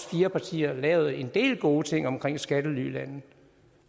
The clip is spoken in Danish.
fire partier lavet en del gode ting omkring skattelylande